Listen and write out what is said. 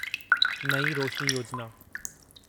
नई रोशनी योजिना